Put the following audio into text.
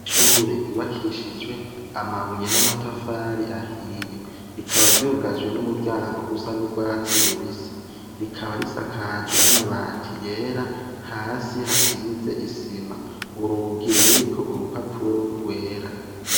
Ishure ryubakishijwe amabuye n'amatafari ahiye. Rikaba ryugajwe n'umuryango usa n'urwatsi rubisi. Rikaba risakajwe n'amabati yera. Hasi hasize isima, urugi ruriko urupapuro rwera.